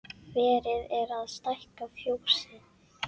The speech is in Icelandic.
Verið er að stækka fjósið.